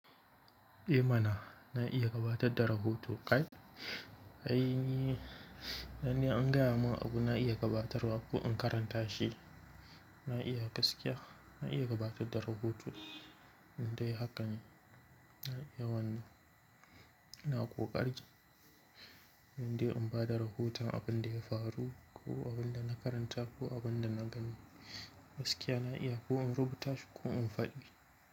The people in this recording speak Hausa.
Eh mana na iya gabatar da rahoto, kai. Ai ni, dan ni in an gaya mun abu na iya gabatarwa ko in karanta shi, na iya gaskiya, na iya gabatar da rahoto. Indai haka ne, na iya wannan, ina ƙoƙari indai in bada rahoton abin da ya faru ko abin da na karanta ko abin da na gani. Gaskiya na iya ko in rubuta shi ko in faɗi.